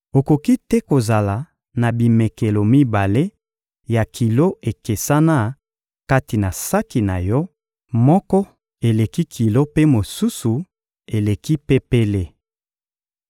Okoki te kozala na bimekelo mibale ya kilo ekesana kati na saki na yo: moko eleki kilo mpe mosusu eleki pepele.